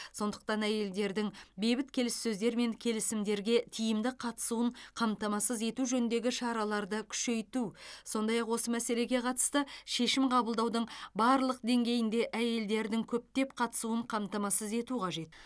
сондықтан әйелдердің бейбіт келіссөздер мен келісімдерге тиімді қатысуын қамтамасыз ету жөніндегі шараларды күшейту сондай ақ осы мәселеге қатысты шешім қабылдаудың барлық деңгейінде әйелдердің көптеп қатысуын қамтамасыз ету қажет